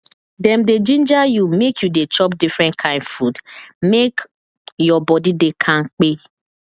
dem dey ginger you make you dey chop different kain food make your body dey kampe